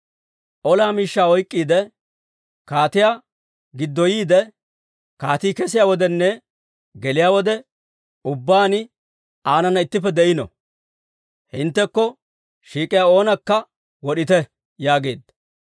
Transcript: Ola miishshaa oyk'k'iide, kaatiyaa giddoyiide, kaatii kesiyaa wodenne geliyaa wode ubbaan aanana ittippe de'ino. Hinttekko shiik'iyaa oonakka wod'ite» yaageedda.